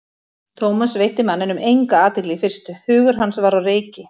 Thomas veitti manninum enga athygli í fyrstu, hugur hans var á reiki.